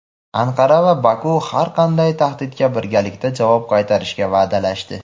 Anqara va Baku har qanday tahdidga birgalikda javob qaytarishga va’dalashdi.